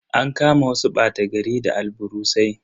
An kama wasu bata gari da alburusai.